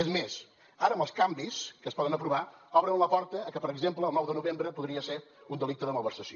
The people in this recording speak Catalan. és més ara amb els canvis que es poden aprovar obren la porta a que per exemple el nou de novembre podria ser un delicte de malversació